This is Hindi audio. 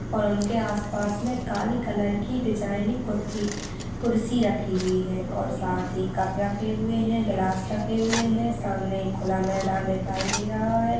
और उनके आसपास काले कलर की डिजाइनिंग कुर्ती कुर्सी रखी हुई है और साथ ही कप रखे हुए हैं गिलास रखे हुए हैं सामने एक खुला मैदान दिखाई दे रहा है।